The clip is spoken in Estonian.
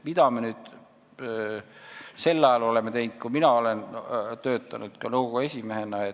Mida me oleme teinud sel ajal, kui ma olen töötanud ka nõukogu esimehena?